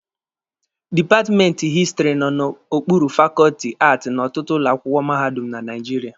Dipatmenti Histiri nọ n'okpuru fakọọtị Aati n'ọtụtụ ụlọ akwụkwọ mahadum na Naijiria